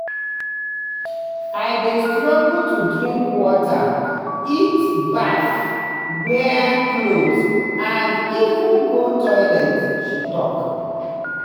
"i dey struggle to drink water eat baff wear cloth and even go toilet" she tok.